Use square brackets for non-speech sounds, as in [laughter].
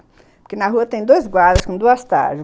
Porque na rua tem dois guardas com duas [unintelligible]